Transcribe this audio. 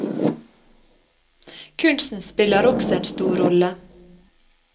Kunsten spiller også en stor rolle.